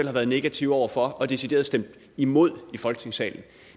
har været negativ over for og decideret stemt imod i folketingssalen